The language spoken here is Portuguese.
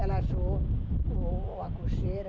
Ela achou a cocheira,